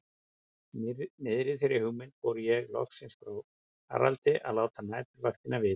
Í miðri þeirri hugmynd fór ég loksins frá Haraldi að láta næturvaktina vita.